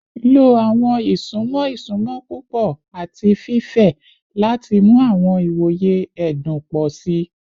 Lo awọn isunmọ isunmọ pupọ ati fifẹ lati mu awọn iwoye ẹdun pọ si